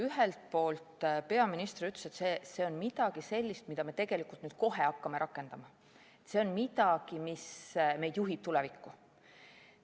Ühelt poolt ütles peaminister, et see on midagi sellist, mida me nüüd kohe hakkame rakendama, see on midagi, mis juhib meid tulevikku.